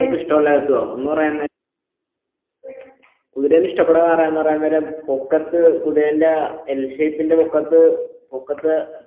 ഇഷ്ടമല്ലായിട്ടും കുതിരാൻ ഇഷ്ടപ്പെടാന്ന്പറ പറയുന്നേരം പൊക്കത്ത് കുതിരന്റെ ആ L shape ന്റെ പൊക്കത്ത് പൊക്കത്ത്